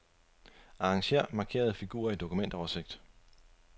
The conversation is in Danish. Arranger markerede filer i dokumentoversigt.